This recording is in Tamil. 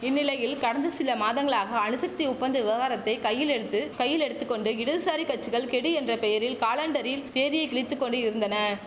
இந்நிலையில் கடந்த சில மாதங்களாக அணுசக்தி ஒப்பந்த விவகாரத்தை கையில் எடுத்து கையில் எடுத்து கொண்டு இடதுசாரி கச்சிகள் கெடு என்ற பெயரில் காலண்டரில் தேதியை கிழித்து கொண்டு இருந்தன